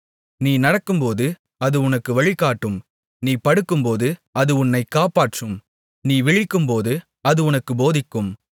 நீ நடக்கும்போது அது உனக்கு வழிகாட்டும் நீ படுக்கும்போது அது உன்னைக் காப்பாற்றும் நீ விழிக்கும்போது அது உனக்கு போதிக்கும்